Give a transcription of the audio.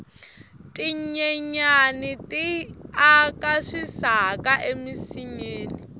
tinyenyani ti aka swisaka eminsinyeni